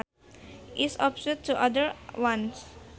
is opposite to other ones